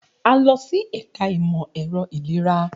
A lọ si ẹka imọ-ẹrọ ilera.